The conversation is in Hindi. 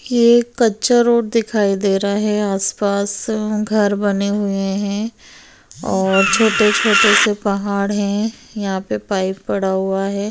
ये कच्चा रोड दिखाई दे रहा है आस पास घर बने हुए है और छोटे छोटे पहाड़ है यहाँ पे पाइप पड़ा है।